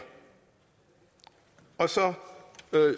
og så